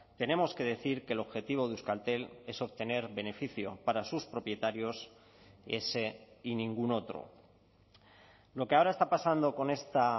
tenemos que decir que el objetivo de euskaltel es obtener beneficio para sus propietarios ese y ningún otro lo que ahora está pasando con esta